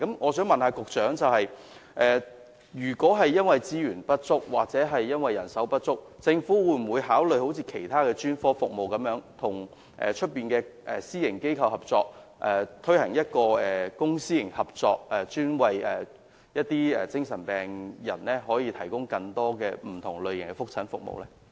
我想問局長，如果資源或人手不足，政府會否考慮好像其他專科服務般，與私營機構合作，推行公私營合作模式，為精神病人提供更多不同類型的覆診服務？